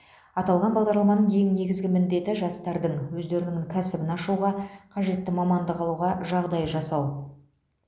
аталған бағдарламаның ең негізгі міндеті жастардың өздерінің кәсібін ашуға қажетті мамандық алуға жағдай жасау